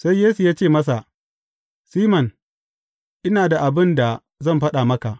Sai Yesu ya ce masa, Siman, ina da abin da zan faɗa maka.